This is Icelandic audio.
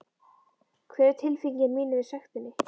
Hver er tilfinning mín yfir sektinni?